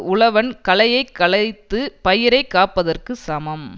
உழவன் களையைக் களைத்து பயிரைக் காப்பதற்குச் சமம்